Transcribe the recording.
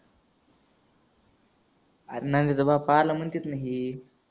आरं नंद्याचा बाप आलाय म्हणत्यात ना हे.